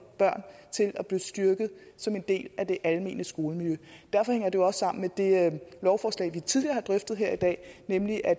børn til at blive styrket som en del af det almene skolemiljø derfor hænger det også sammen med det lovforslag vi tidligere har drøftet her i dag nemlig at